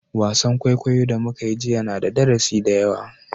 Wasan kwaikwayo da muka yi jiya na da darasi da yawa